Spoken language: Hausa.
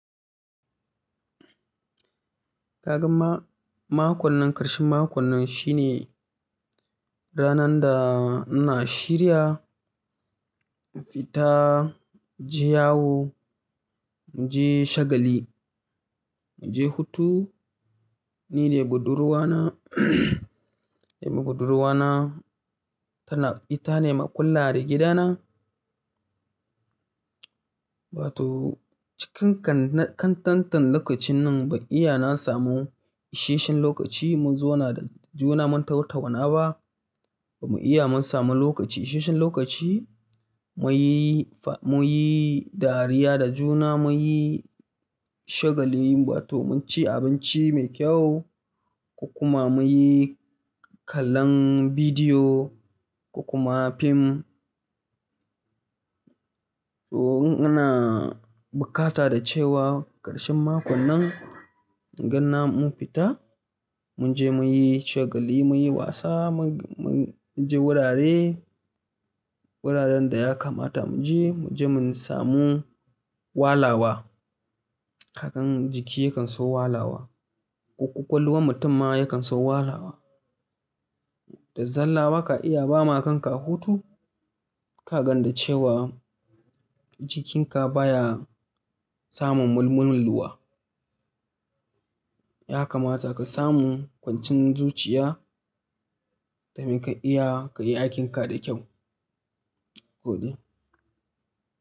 Kagan ma-makon nan, ƙarshen makon nan shine ranar da ina shirya in fita je yawo, in je shagali, in je hutu. Ni da budurwa na da budurwa na, tana ita ne maikulla da gida na. Wa to cikin kan-kantaten lokacin nan ban iya na samu isheshen lokaci mu zauna da juna mu tautauna ba. Ba mu iya mun samu lokaci, isheshen lokaci muyi fa-muyi dariya da juna, muyi shagali ba to mu ci abinci mai kyau ko kuma muyi kallon bidiyo ko kuma fim. To in ina bukata da cewa ƙarshen makon nan ganna mun fita, mun je muyi shagali, muyi wasa, mun-mun je wurare, wuraren da ya kamata mu je, mu je mun samu walawa. Kagan jiki yakan so walawa, kwakwalwan mutum ma yakan so walawa. Da zalla baka iya bama kanka hutu kagan da cewa jikinka baya samun mulmulluwa. Ya kamata ka samu kwancin zuciya da mai ka iya ka yi aikin ka da kyau. Kudi.